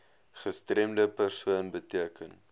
gestremde persoon beteken